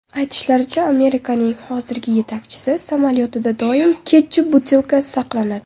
Aytishlaricha, Amerikaning hozirgi yetakchisi samolyotida doim ketchup butilkasi saqlanadi.